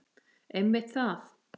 Einmitt það!